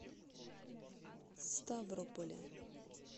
ставрополе